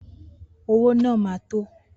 Owó náà ma tó